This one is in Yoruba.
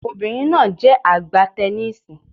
Obìnrin náà jẹ́ a gbá teniísì.